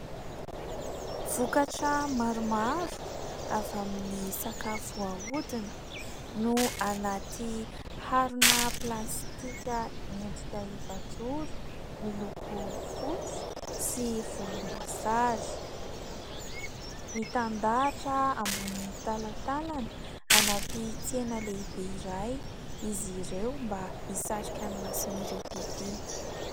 Vokatra maromaro avy amin'ny sakafo ahodina no anaty harona plastika miendrika efajoro miloko fotsy sy volomboasary. Mitandahatra ambony talantalana anaty tsena lehibe iray izy ireo mba hisarika ny mason'ireo mpividy.